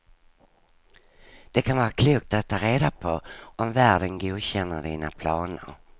Det kan vara klokt att ta reda på om värden godkänner dina planer.